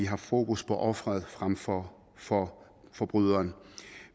har fokus på offeret frem for for forbryderen